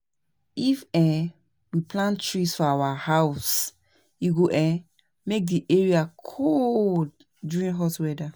if um we plant trees for our house, e go um make di area cool, during hot weather